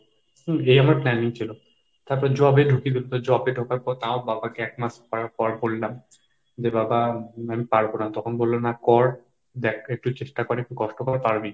হম এই আমার planning ছিল। তারপর job এ ঢুকিয়ে দিল। তো job এ ঢোকার পর আবার বাবাকে এক মাস করার পর বললাম, যে বাবা আমি পারবো না। তখন বলল না কর দেখ একটু চেষ্টা করে কষ্ট কর পারবি।